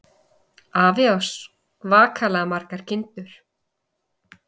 Afi á svakalega margar kindur.